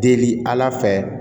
Deli ala fɛ